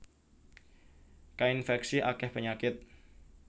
Kainfèksi akèh penyakit